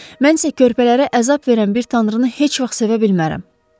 Mən isə körpələrə əzab verən bir tanrını heç vaxt sevə bilmərəm.